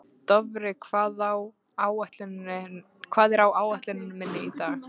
Dofri, hvað er á áætluninni minni í dag?